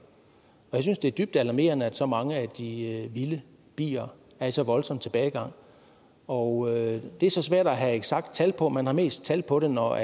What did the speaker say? jeg synes det er dybt alarmerende at så mange af de vilde bier er i så voldsom tilbagegang og det er så svært at have et eksakt tal på det man har mest tal på det når